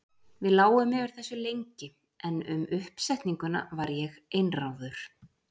Við lágum yfir þessu lengi, en um uppsetninguna var ég einráður.